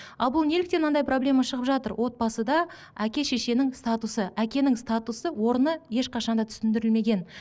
ал бұл неліктен мынандай проблема шығып жатыр отбасыда әке шешенің статусы әкенің статусы орны ешқашан да түсіндірілмеген